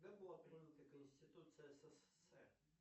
когда была принята конституция ссср